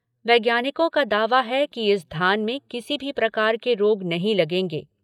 वैज्ञानिकों का दावा है कि इस धान में किसी भी प्रकार के रोग नहीं लगेंगे।